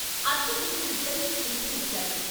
అర్చకుడు ఇద్దరికీ తీర్థం ఇచ్చాడు.